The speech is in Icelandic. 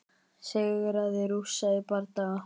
Sigraði Rússa í bardaga